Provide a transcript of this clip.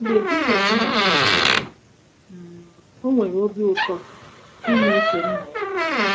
Mgbe Jizọs nọ n’ụwa, um o nwere obi ụtọ ime uche Nna ya.